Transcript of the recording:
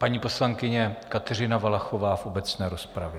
Paní poslankyně Kateřina Valachová v obecné rozpravě.